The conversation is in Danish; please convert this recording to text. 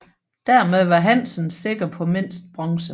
Dermed var Hansen sikker på mindst bronze